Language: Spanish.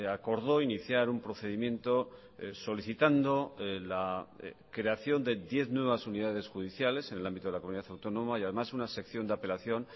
acordó iniciar un procedimiento solicitando la creación de diez nuevas unidades judiciales en el ámbito de la comunidad autónoma y además una sección de apelación